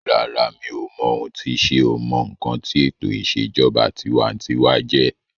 Rárá, mi ò mọ ohun tí sé o mọ ǹkan tí ètò ìṣèjọba tinwatinwa jẹjẹ́